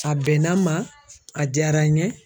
A bɛnna n ma a diyara n ye.